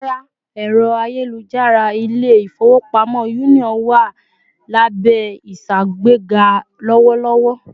Rárá, ẹrọ ayelujara ilé-ifowopamọ Union wá lábé ìṣàgbega lowolowo